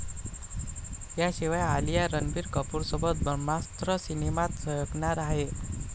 याशिवाय आलिया रणबीर कपूरसोबत 'ब्रह्मास्त्र' सिनेमात झळकणार आहे.